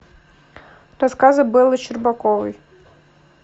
рассказы беллы щербаковой